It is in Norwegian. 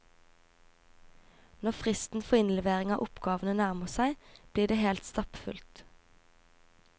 Når fristen for innlevering av oppgavene nærmer seg, blir det helt stappfullt.